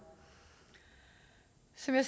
som jeg